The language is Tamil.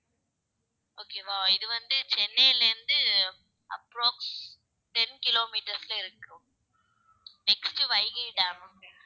okay வா இது வந்து சென்னையில இருந்து approx ten kilometres ல இருக்கு next வைகை டேம்